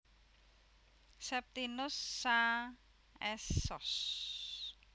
Septinus Saa S Sos